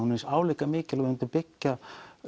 álíka mikið og það mynd byggja